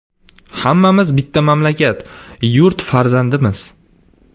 Hammamiz bitta mamlakat, yurt farzandimiz.